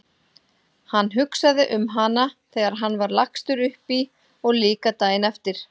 Hann hugsaði um hana þegar hann var lagstur upp í og líka daginn eftir.